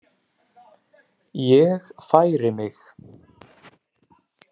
Ég færi mig.